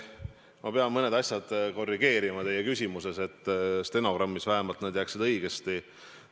Ma pean mõned asjad ära korrigeerima teie küsimuses, et need vähemalt stenogrammis jääksid õigesti.